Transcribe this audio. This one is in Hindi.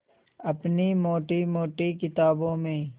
अपनी मोटी मोटी किताबों में